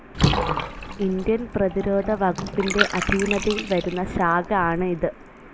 Indian പ്രതിരോധ വകുപ്പിൻ്റെ അധീനതയിൽ വരുന്ന ശാഖ ആണ് ഇത്.